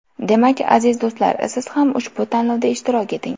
Demak, aziz do‘stlar, Siz ham ushbu tanlovda ishtirok eting!